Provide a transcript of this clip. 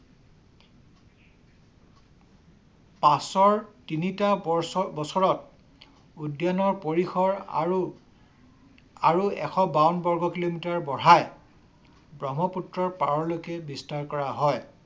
পাছৰ তিনিটা বছৰত উদ্যানৰ পৰিসৰ আৰু এশ বাৱন্ন বগ কিলোমিটাৰ বঢ়াই ব্ৰহ্মপুত্ৰ পাৰলৈকে বিস্তাৰ কৰা হয়।